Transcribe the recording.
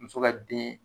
Muso ka den